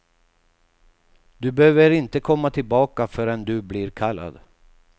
Du behöver inte komma tillbaka förrän du blir kallad.